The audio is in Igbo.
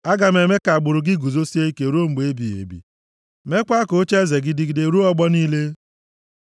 ‘Aga m eme ka agbụrụ gị guzosie ike ruo mgbe ebighị ebi meekwa ka ocheeze gị dịgide ruo ọgbọ niile.’ ” Sela